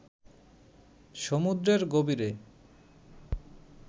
সমুদ্রের গভীরে